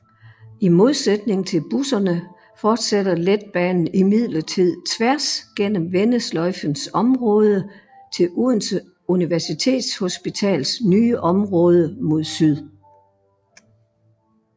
I modsætning til busserne fortsætter letbanen imidlertid tværs gennem vendesløjfens område til Odense Universitetshospitals nye område mod syd